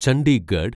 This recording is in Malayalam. ചണ്ഡീഗഡ്